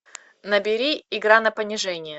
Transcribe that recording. набери игра на понижение